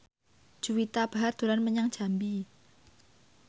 Juwita Bahar dolan menyang Jambi